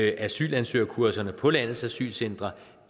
at asylansøgerkurserne på landets asylcentre